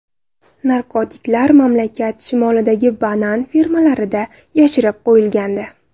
Narkotiklar mamlakat shimolidagi banan fermalarida yashirib qo‘yilgandi.